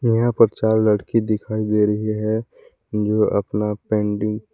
यहां पर चार लड़की दिखाई दे रही है जो अपना पेंडिंग --